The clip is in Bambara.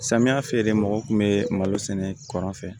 Samiya fɛ de mɔgɔ kun be malo sɛnɛ kɔrɔn fɛ